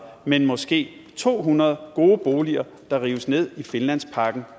men måske to hundrede gode boliger der rives ned i finlandsparken